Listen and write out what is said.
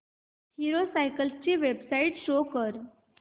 hero cycles ची website show कर